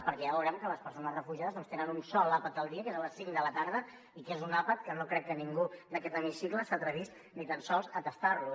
perquè ja veurem que les persones refugiades només tenen un sol àpat al dia que és a les cinc de la tarda i que és un àpat que no crec que ningú d’aquest hemicicle s’atrevís ni tan sols a tastar lo